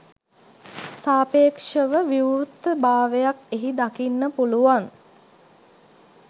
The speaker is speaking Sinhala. සාපේක්ෂව විවෘත භාවයක් එහි දකින්න පුළුවන්